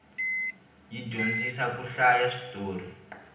yi dyondzisa ku hlaya switorhi